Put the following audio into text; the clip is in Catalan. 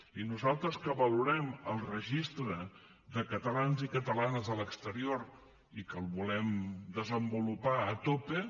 i nosaltres que valorem el registre de catalans i catalanes a l’exterior i que el volem desenvolupar a tope